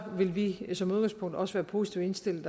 vil vi som udgangspunkt også være positivt indstillet